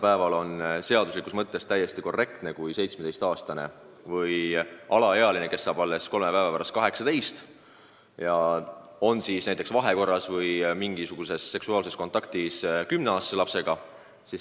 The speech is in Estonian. Praegu on seaduse mõttes täiesti korrektne, kui näiteks 17-aastane, kes kolme päeva pärast saab 18, on vahekorras või mingisuguses muus seksuaalses kontaktis 10-aastase lapsega.